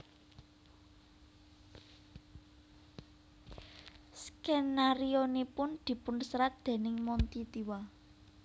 Skenarionipun dipun serat déning Monty Tiwa